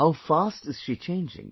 How fast is she changing